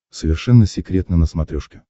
совершенно секретно на смотрешке